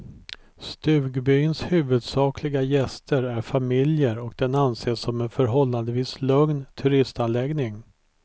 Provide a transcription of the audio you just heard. Stugbyns huvudsakliga gäster är familjer och den anses som en förhållandevis lugn turistanläggning.